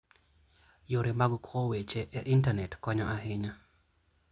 Yore mag kowo weche e Intanet konyo ahinya.